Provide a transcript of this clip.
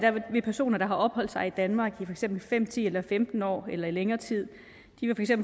vil personer der har afholdt sig i danmark i eksempel fem ti eller femten år eller længere tid